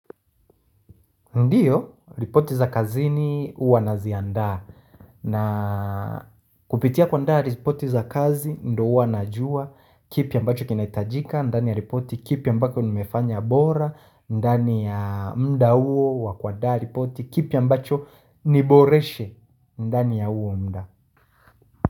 Ndiyo, ripoti za kazini uwa naziandaa na kupitia kuandaa ripoti za kazi ndo uwa najua kipi ambacho kinaitajika ndani ya ripoti kipi ambako nmefanya bora ndani ya mda uwo kuandaa ripoti kipi ambacho niboreshe ndani ya uwo mda.